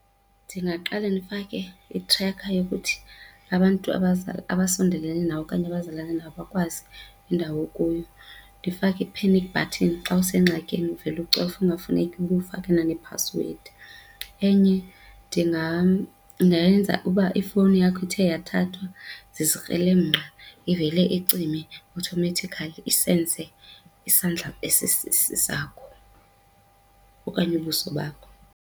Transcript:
Ndingaqale ndifake i-tracker yokuthi abantu abasondelene nawe okanye abazalana nawe bakwazi indawo okuyo, ndifake i-panic button xa usengxakini uvele ucofe kungafuneki uba ufakana nphasiwedi. Enye ndingayenza uba ifowuni yakho ithe yathathwa zizikrelemnqa ivele icime automatically isense isandla esisesi sakho okanye ubuso bakho.